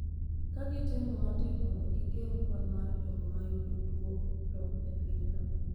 ka gitemo matek mondo gigeng’ kwan mar jogo ma yudo tuono e pinyno.